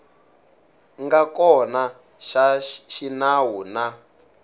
nga kona xa xinawu na